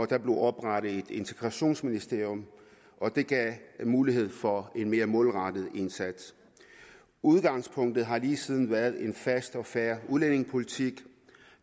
der blev oprettet et integrationsministerium og det gav mulighed for en mere målrettet indsats udgangspunktet har lige siden været en fast og fair udlændingepolitik